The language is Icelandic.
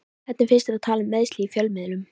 Hvernig finnst að tala um meiðsli í fjölmiðlum?